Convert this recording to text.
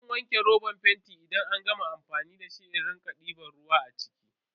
Zan wanke robar fentin idan an gama amfani da shi in rike diban ruwa a ciki.